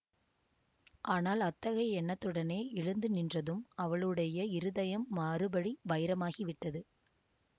ஆனால் அத்தகைய எண்ணத்துடனே எழுந்து நின்றதும் அவளுடைய இருதயம் மறுபடி வைரமாகி விட்டது